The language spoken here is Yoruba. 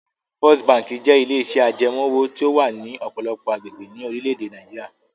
First Bank jẹ́ ilé-iṣẹ́ ajẹmoówò tí ó wà ní ọ̀pọ̀lọpọ̀ agbègbè orílẹ̀-èdè Nàìjíríà.